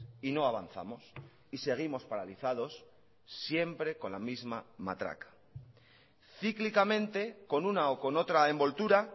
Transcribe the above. y no avanzamos y seguimos paralizados siempre con la misma matraca cíclicamente con una o con otra envoltura